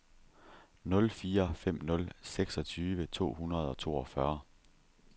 nul fire fem nul seksogtyve to hundrede og toogfyrre